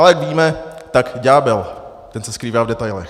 Ale jak víme, tak ďábel, ten se skrývá v detailech.